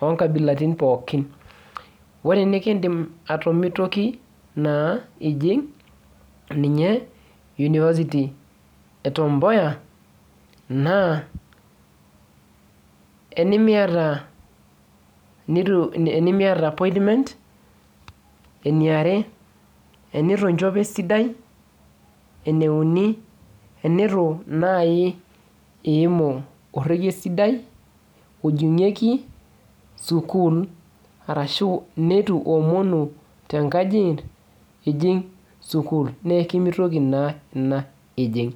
onkabilaritin pookin. Ore enikiidim atomitoki naa ijing ninye University e Tom Mboya, naa enimiata appointment, eniare, enitu nchopo esidai, eneuni enitu nai iimu orrekie sidai ojing'ieki sukuul arashu nitu omonu tenkaji ijing sukuul. Neekimitoki naa ina ijing.